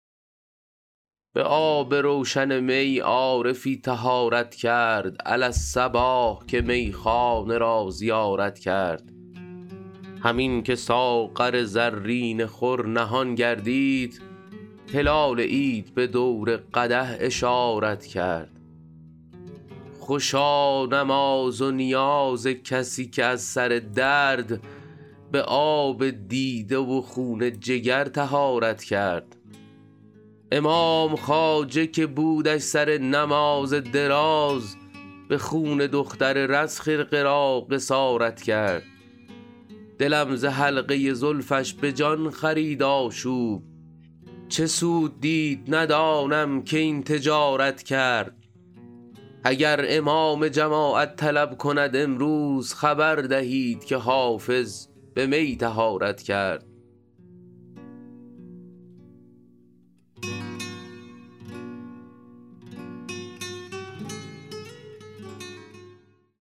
به آب روشن می عارفی طهارت کرد علی الصباح که میخانه را زیارت کرد همین که ساغر زرین خور نهان گردید هلال عید به دور قدح اشارت کرد خوشا نماز و نیاز کسی که از سر درد به آب دیده و خون جگر طهارت کرد امام خواجه که بودش سر نماز دراز به خون دختر رز خرقه را قصارت کرد دلم ز حلقه زلفش به جان خرید آشوب چه سود دید ندانم که این تجارت کرد اگر امام جماعت طلب کند امروز خبر دهید که حافظ به می طهارت کرد